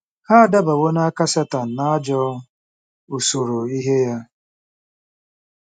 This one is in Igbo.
Ha adabawo n'aka Setan na ajọ usoro ihe ya.